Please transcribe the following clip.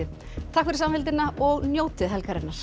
takk fyrir samfylgdina og njótið helgarinnar